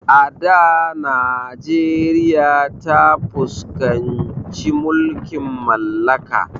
A da najeriya ta fuskanci mulkin mallaka